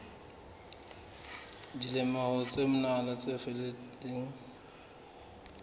dilemong tse mmalwa tse fetileng